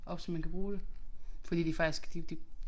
Op så man kan bruge det fordi de faktisk de de